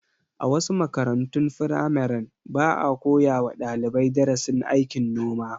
A wasu makarantun firamaren, ba a koya wa dalibai darasin aikin noma.